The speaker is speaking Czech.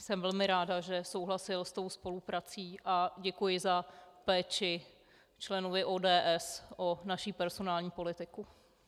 Jsem velmi ráda, že souhlasil s tou spoluprací, a děkuji za péči členovi ODS o naši personální politiku.